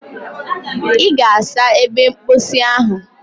Ị ga-asa ebe mposi ahụ.